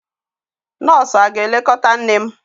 Nọọsụ aga-elekọta nne m?